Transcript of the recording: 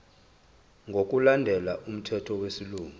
ngokulandela umthetho wesilungu